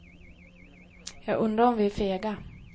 Jag undrar om vi är fega.